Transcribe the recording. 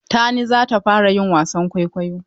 Tani za ta fara yin wasan kwaikwayo.